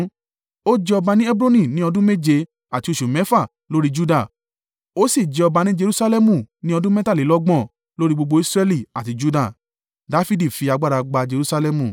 Ó jẹ ọba ní Hebroni ní ọdún méje àti oṣù mẹ́fà lórí Juda, ó sì jẹ ọba ní Jerusalẹmu ní ọdún mẹ́tàlélọ́gbọ̀n lórí gbogbo Israẹli àti Juda.